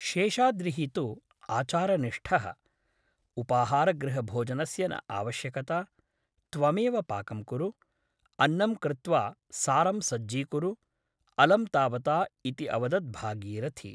शेषाद्रिः तु आचारनिष्ठः । उपाहारगृहभोजनस्य न आवश्यकता । त्वमेव पाकं कुरु । अन्नं कृत्वा सारं सज्जीकुरु । अलं तावता इति अवदत् भागीरथी ।